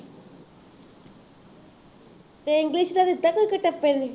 ਅਤੇ english ਦਿੱਤਾ ਕੋਈ ਕੁਟੱਪੇ ਨੇ